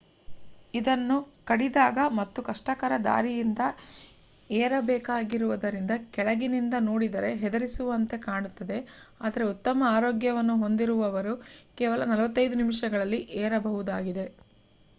ಇದನ್ನು ಕಡಿದಾದ ಮತ್ತು ಕಷ್ಟಕರ ದಾರಿಯಿಂದ ಏರಬೇಕಾಗಿರುವುದರಿಂದ ಕೆಳಗಿನಿಂದ ನೋಡಿದರೆ ಹೆದರಿಸುವಂತೆ ಕಾಣುತ್ತದೆ ಆದರೆ ಉತ್ತಮ ಆರೋಗ್ಯವನ್ನು ಹೊಂದಿರುವವರು ಕೇವಲ 45 ನಿಮಿಷಗಳಲ್ಲಿ ಏರಬಹುದಾಗಿದೆ